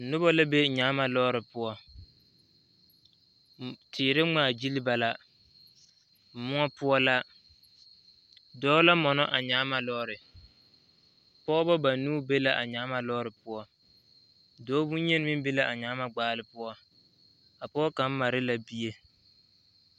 Noba la be nyaaba lɔɔre poɔ teere ŋmaagyili ba la moɔ poɔ la dɔɔ la mɔnɔ a nyaaba lɔɔre pɔgeba banuu be la a nyaaba lɔɔre poɔ dɔɔ bonyeni meŋ be la a nyaaba gbaale poɔ a pɔge kaŋ mare la bie.